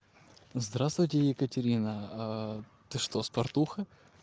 здравствуйте екатерина ты что спартуха